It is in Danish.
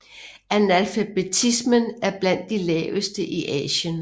Analfabetismen er blandt de laveste i Asien